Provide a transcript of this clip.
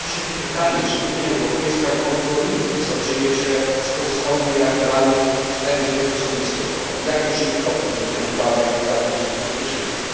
I rodzi się tu pytanie czy Unia Europejska kontroluje, co dzieje się z pozostałymi reaktorami z ery Związku Sowieckiego, jakie czyni kroki w tym kierunku, aby zapewnić ich bezpieczeństwo?